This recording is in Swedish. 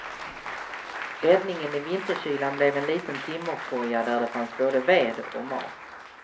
Räddningen i vinterkylan blev en liten timmerkoja där det fanns både ved och mat.